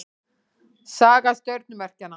Saga stjörnumerkjanna.